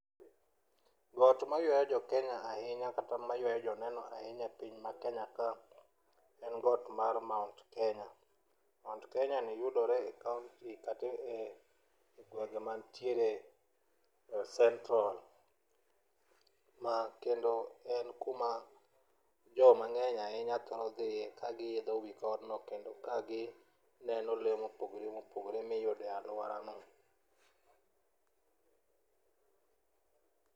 Got mayuayo jokenya ahinya kata mayuayo joneno ahinya e piny makenya ka en got mar mount Kenya. Mount kenyani yudore e kaonti kata e gwenge mantiere e central ma kendo en kuma jomang'eny ahinya thoro dhiiye kagiidho wi godno kendo kagineno lee mopogore mopogore miyude alworano.